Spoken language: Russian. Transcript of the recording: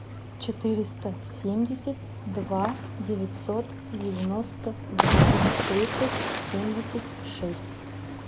четыреста семьдесят два девятьсот девяносто два тридцать семьдесят шесть